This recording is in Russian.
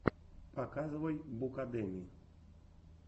показывай букадеми